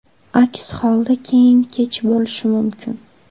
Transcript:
Aks holda keyin kech bo‘lishi mumkin.